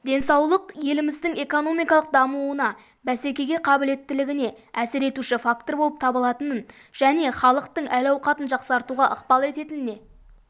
денсаулық еліміздің экономикалық дамуына бәсекеге қабілеттілігіне әсер етуші фактор болып табылатынын және халықтың әл-ауқатын жақсартуға ықпал ететініне